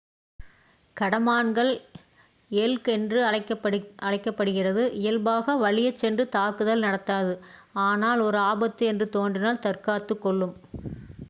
கடமான்கள் elk என்றும் அழைக்கப் படுகிறது இயல்பாக வலியச் சென்று தாக்குதல் நடத்தாது ஆனால் ஒரு ஆபத்து என்று தோன்றினால் தற்காத்துக் கொள்ளும்